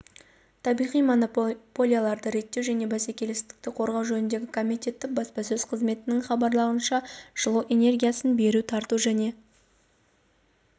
табиғи монополияларды реттеу және бәсекелестікті қорғау жөніндегі комитеті баспасөз қызметінің хабарлауынша жылу энергиясын беру тарату және